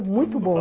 Muito bom.